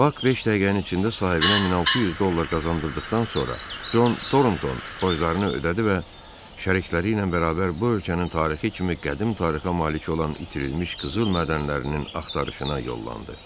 Bak beş dəqiqənin içində sahibinə 1600 dollar qazandırdıqdan sonra, Con Tornton borclarını ödədi və şərikləri ilə bərabər bu ölkənin tarixi kimi qədim tarixə malik olan itirilmiş qızıl mədənlərinin axtarışına yollandı.